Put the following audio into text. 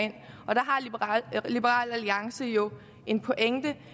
liberal alliance jo en pointe